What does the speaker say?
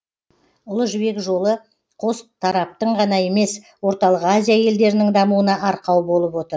ұлы жібек жолы қос тараптың ғана емес орталық азия елдерінің дамуына арқау болып отыр